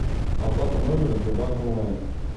оплата номера сбербанк онлайн